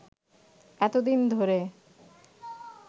এতোদিন ধরে